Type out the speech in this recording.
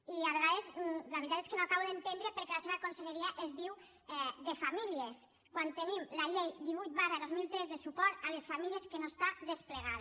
i a vegades la veritat és que no acabo d’entendre per què la seva conselleria es diu de famílies quan tenim la llei divuit dos mil tres de suport a les famílies que no està desplegada